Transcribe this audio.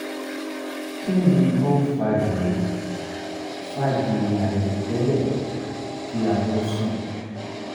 kinni o n fa giri fa giri airotẹ́lẹ̀ ki a tó sùn?